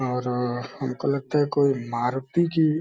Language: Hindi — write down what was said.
और हमको लगता है कोई मारुती की --